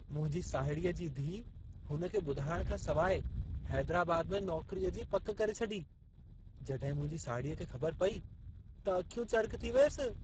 मुंहिंजी साहिड़ीअ जी धीअ हुन खे ॿुधाइण खां सवाइ हैदराबाद में नौकरीअ जी पक करे छॾी। जॾहिं मुंहिंजी साहिड़ीअ खे ख़बर पई त अखियूं चरिख़ थी वियसि।